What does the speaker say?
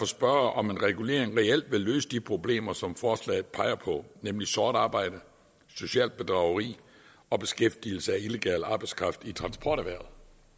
spørge om en regulering reelt vil løse de problemer som forslaget peger på nemlig sort arbejde socialt bedrageri og beskæftigelse af illegal arbejdskraft i transporterhvervet